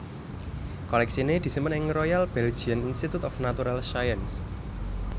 Kolèksiné disimpen ing Royal Belgian Institute of Natural Sciences